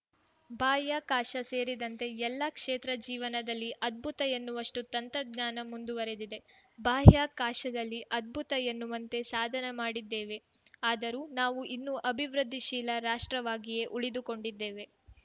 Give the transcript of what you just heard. ಬಾಹ್ಯಾಕಾಶ ಸೇರಿದಂತೆ ಎಲ್ಲ ಕ್ಷೇತ್ರಜೀವನದಲ್ಲಿ ಅದ್ಭುತ ಎನ್ನುವಷ್ಟುತಂತ್ರಜ್ಞಾನ ಮುಂದುವರಿದಿದೆ ಬಾಹ್ಯಾಕಾಶದಲ್ಲಿ ಅದ್ಭುತ ಎನ್ನುವಂತೆ ಸಾಧನೆ ಮಾಡಿದ್ದೇವೆ ಆದರೂ ನಾವು ಇನ್ನೂ ಅಭಿವೃದ್ಧಿಶೀಲ ರಾಷ್ಟ್ರವಾಗಿಯೇ ಉಳಿದುಕೊಂಡಿದ್ದೇವೆ